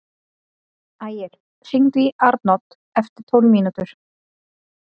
Ægir, hringdu í Arnodd eftir tólf mínútur.